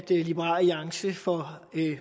liberal alliance får